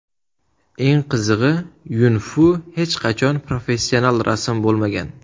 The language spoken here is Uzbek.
Eng qizig‘i Yun-Fu hech qachon professional rassom bo‘lmagan.